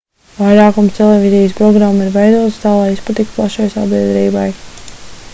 vairākums televīzijas programmu ir veidotas tā lai izpatiktu plašai sabiedrībai